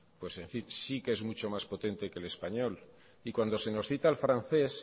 sí que es mucho más potente que el español y cuando se nos cita al francés